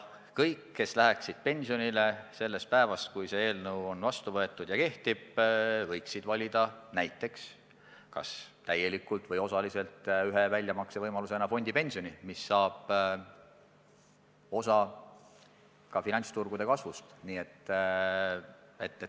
Kõik, kes läheksid pensionile pärast seda, kui see eelnõu on vastu võetud ja kehtima hakanud, võiksid valida kas täielikult või osaliselt ühe väljamaksevõimalusena näiteks fondipensioni, mis saab osa ka finantsturgude kasvust.